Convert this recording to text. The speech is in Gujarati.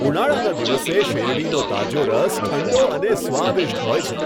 ઉનાળાના દિવસે શેરડીનો તાજો રસ ઠંડો અને સ્વાદિષ્ટ હોય છે.